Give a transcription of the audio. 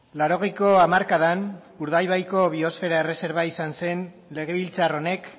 laurogeiko hamarkadan urdaibaiko biosfera erreserba izan zen legebiltzar honek